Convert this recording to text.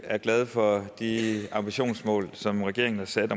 glad for de ambitionsmål som regeringen har sat